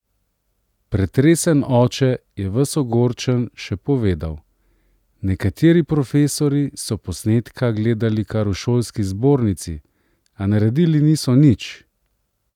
Pretresen oče je ves ogorčen še povedal: "nekateri profesorji so posnetka gledali kar v šolski zbornici, a naredili niso nič.